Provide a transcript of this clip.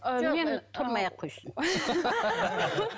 тұрмай ақ қойсын